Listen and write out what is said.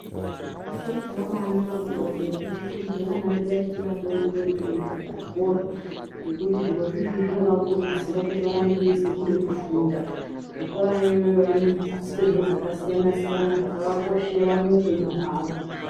Chiro chakabanaka kuti vabereki tikurudzire vana vedu vachiri vadodori kuenda kuzvikora ngekuti zvirozvo izvozvo zvinovakurudzira kuti varambe veizwa kuda kufunda zvikorayoiyoyo vanofundiswa zviro zvakasiyana siyana zvakakoshera muupenyu hwavo.